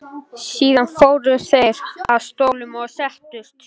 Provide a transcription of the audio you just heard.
Síðan fóru þeir að stólunum og settust.